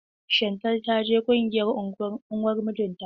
Shantel ta ji kunyar uwar mijinta.